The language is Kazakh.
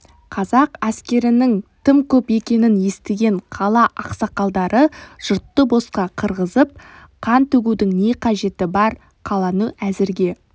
қазақ әскерінің тым көп екенін естіген қала ақсақалдары жұртты босқа қырғызып қан төгудің не қажеті бар қаланы әзірге